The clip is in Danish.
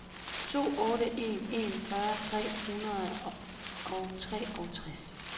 to otte en en fyrre tre hundrede og treogtres